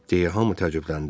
– deyə hamı təəccübləndi.